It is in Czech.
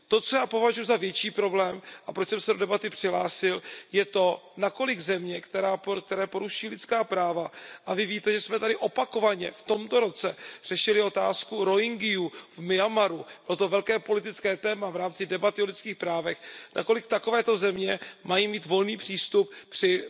To, co já považuji za větší problém a proč jsem se do debaty přihlásil, je to, nakolik země, které poruší lidská práva a vy víte, že jsme tady opakovaně v tomto roce řešili otázku Rohyngiů v Myanmaru, toto velké politické téma v rámci debaty o lidských právech mají mít volný přístup při